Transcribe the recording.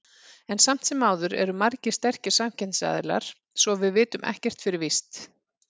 En samt sem áður eru margir sterkir samkeppnisaðilar, svo að við vitum ekkert fyrir víst.